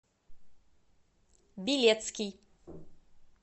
билецкий